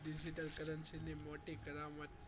Currency ની મોટી કરામત